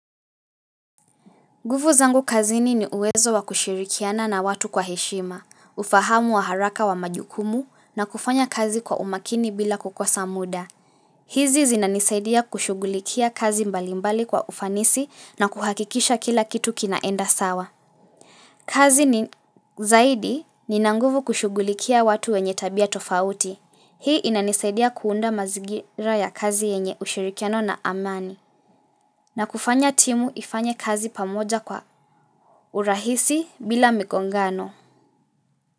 Gufu zangu kazini ni uwezo wa kushirikiana na watu kwa heshima, ufahamu wa haraka wa majukumu na kufanya kazi kwa umakini bila kukosa muda. Hizi zinanisaidia kushugulikia kazi mbalimbali kwa ufanisi na kuhakikisha kila kitu kinaenda sawa. Kazi ni zaidi ninanguvu kushugulikia watu wenye tabia tofauti. Hii inanisaidia kuunda mazingira ya kazi yenye ushirikiano na amani. Na kufanya timu ifanye kazi pamoja kwa urahisi bila mikongano.